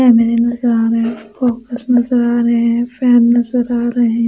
family नजर आ रहे हैं फोकस नजर आ रहे हैं फ्रेंड नजर आ रहे--